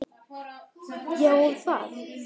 Ég á það. Þú?